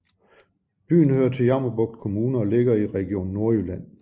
Byen hører til Jammerbugt Kommune og ligger i Region Nordjylland